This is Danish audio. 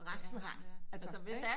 Resten har altså